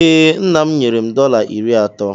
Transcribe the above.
Ee, nna m nyere m dọla iri atọ.